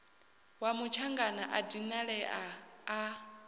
wa mutshangana a dinalea a